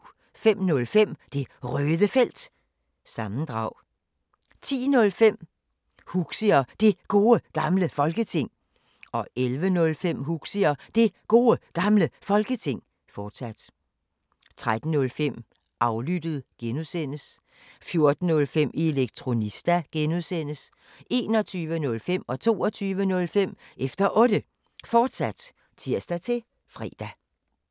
05:05: Det Røde Felt – sammendrag 10:05: Huxi og Det Gode Gamle Folketing 11:05: Huxi og Det Gode Gamle Folketing, fortsat 13:05: Aflyttet G) 14:05: Elektronista (G) 21:05: Efter Otte, fortsat (tir-fre) 22:05: Efter Otte, fortsat (tir-fre)